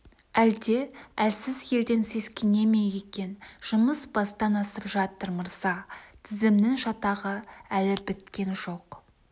әлде әлсіз елден сескене ме екен жұмыс бастан асып жатыр мырза тізімнің шатағы әлі біткен жоқ